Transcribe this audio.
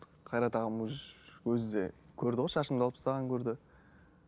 қайрат ағам өзі де көрді ғой шашымды алып тастағанымды көрді